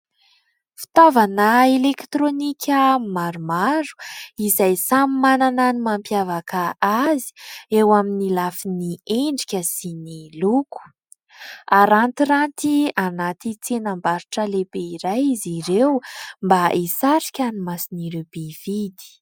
Fitaovana "elekitirônika" maromaro izay samy manana ny mampiavaka azy eo amin'ny lafiny endrika sy ny loko. Arantiranty anaty tsenam-barotra lehibe iray izy ireo mba hisarika ny mason'ireo mpividy.